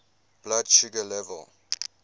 blood sugar level